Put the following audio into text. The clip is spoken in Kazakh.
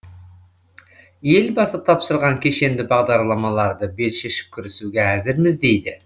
елбасы тапсырған кешенді бағдарламаларды бел шешіп кірісуге әзірміз дейді